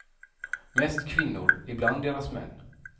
Mest kvinnor, ibland deras män.